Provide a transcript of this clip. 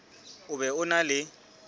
o be o na le